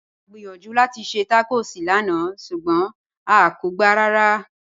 À gbíyànjú láti ṣẹ́ tacọ́s lànà ṣugbọn à kò gbá rárá